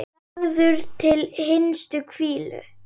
Lagður til hinstu hvílu?